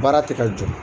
Baara tɛ ka jɔ